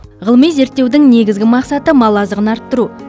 ғылыми зерттеудің негізгі мақсаты мал азығын арттыру